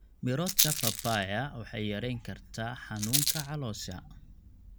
Miroodhka papayaa waxay yareyn kartaa xanuunka caloosha.